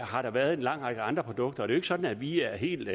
har der været en lang række andre produkter og det er sådan at vi er helt